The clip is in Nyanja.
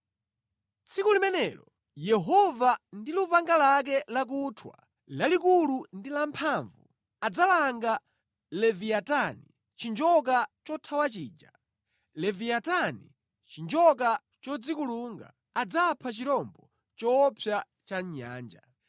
Tsiku limenelo, Yehova ndi lupanga lake lakuthwa, lalikulu ndi lamphamvu, adzalanga Leviyatani chinjoka chothawa chija, Leviyatani chinjoka chodzikulunga; adzapha chirombo choopsa cha mʼnyanja.